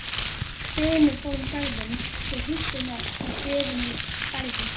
Hvinur fór um garðinn svo hríslurnar í beðunum bærðust.